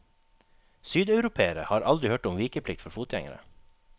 Sydeuropere har aldri hørt om vikeplikt for fotgjengere.